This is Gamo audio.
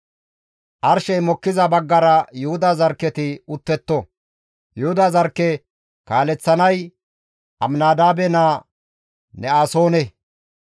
Arshey mokkiza baggara Yuhuda zarkketi uttetto; Yuhuda zarkke kaaleththanay Aminadaabe naa Ne7asoone.